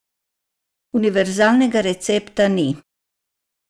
Univerzalnega recepta ni.